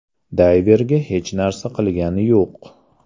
Dayverga hech narsa qilgani yo‘q.